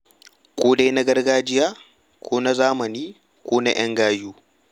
Ko dai na gargajiya ko na zamani ko na 'yan gayu.